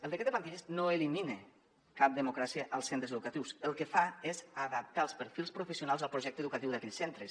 el decret de plantilles no elimina cap democràcia als centres educatius el que fa és adaptar els perfils professionals al pro·jecte educatiu d’aquells centres